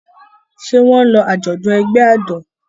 Ṣé wọn lọ àjọ̀dún ẹgbẹ́ ọ̀dọ́?